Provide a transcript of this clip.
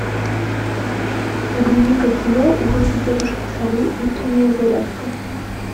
загрузи ка кино уроки тетушки совы утренняя зарядка